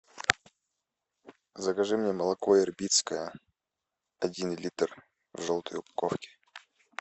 закажи мне молоко ирбитское один литр в желтой упаковке